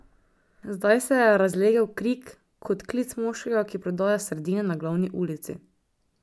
Zdaj se je razlegel krik, kot klic moškega, ki prodaja sardine na glavni ulici.